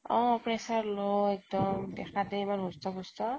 অ । pressure low একদম । দেখাত হে এমান হুষ্ট পুষ্ট